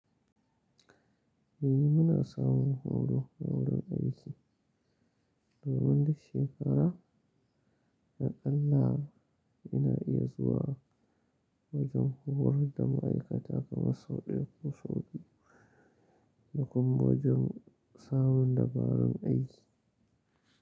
Eh muna samun horo na wurin aiki domin duk shekara a ƙalla ina iya zuwa wajen horar da ma'aikata kamar sau ɗaya ko sau biyu, da kuma wajen samun dabarun aiki.